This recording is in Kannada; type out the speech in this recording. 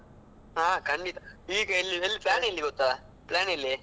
ಹಾ ಖಂಡಿತಾ ಈಗ plan ಎಲ್ಲಿ ಗೊತ್ತಾ plan ಎಲ್ಲಿ.